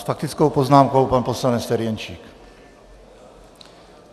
S faktickou poznámkou pan poslanec Ferjenčík.